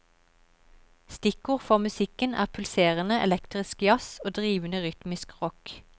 Stikkord for musikken er pulserende elektrisk jazz og drivende rytmisk rock.